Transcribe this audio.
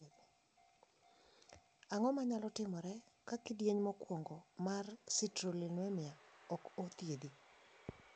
Ang`o manyalo timore ka kidieny mokuongo mar citrullinemia okothiedhi?